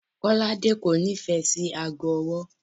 Kọ́ládé kò nífẹ̀ẹ́ sí aago ọwọ́.